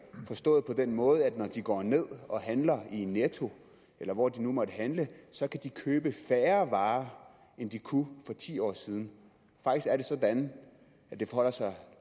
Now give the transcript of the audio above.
forstået på den måde at når de går ned og handler i netto eller hvor de nu måtte handle så kan de købe færre varer end de kunne for ti år siden faktisk er det sådan at det forholder sig